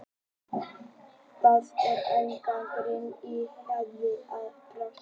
Það er ennþá gert grín að því hvernig ég brást við.